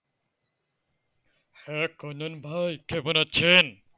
হ্যাঁ কল্যাণ ভাই কেমন আছেন?